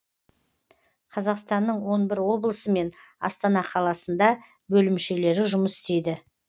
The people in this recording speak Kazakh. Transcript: қазақстанның он бір облысы мен астана қаласында бөлімшелері жұмыс істейді